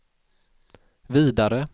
vidare